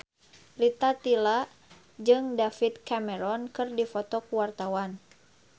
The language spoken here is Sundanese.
Rita Tila jeung David Cameron keur dipoto ku wartawan